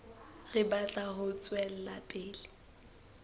re batla ho tswela pele